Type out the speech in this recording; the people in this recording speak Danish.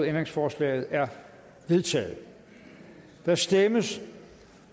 ændringsforslaget er vedtaget der stemmes